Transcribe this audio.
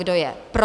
Kdo je pro?